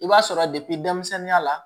I b'a sɔrɔ denmisɛnninya la